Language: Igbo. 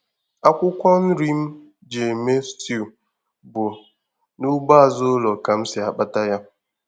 Akwụkwọ nri m ji eme stew bụ n'ugbo azụ ụlọ ka m si akpata ya.